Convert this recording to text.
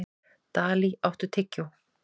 Dalí, áttu tyggjó?